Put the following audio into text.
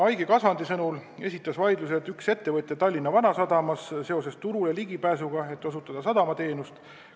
Aigi Kasvand vastas, et vaidluse algatas üks ettevõtja Tallinna Vanasadamas seoses püüdega turule pääseda, et osutada sadamateenust.